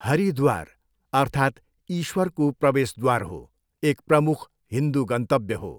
हरिद्वार, अर्थात् ईश्वरको प्रवेशद्वार हो, एक प्रमुख हिन्दू गन्तव्य हो।